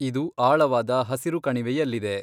ಇದು ಆಳವಾದ ಹಸಿರು ಕಣಿವೆಯಲ್ಲಿದೆ.